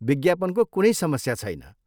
विज्ञापनको कुनै समस्या छैन।